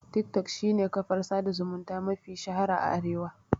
Tik tok shine kafar sada zumunta mafi shahara a Arewa